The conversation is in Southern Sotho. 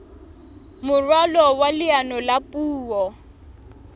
moralo wa leano la puo